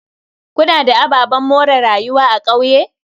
Kuna da ababen more rayuwa a kauye?